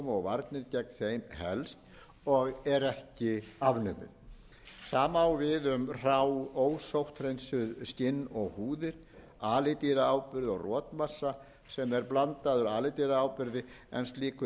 og varnir gegn þeim helst og er ekki afnumið sama á við um hrá ósótthreinsuð skinn og húðir alidýraáburð og rotmassa sem er blandaður alidýraáburði en slíkur